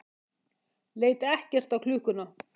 leit ekkert á klukkuna.